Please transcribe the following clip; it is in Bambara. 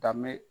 Danbe